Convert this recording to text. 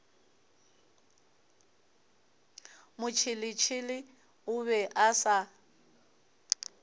motšheletšhele o be a sa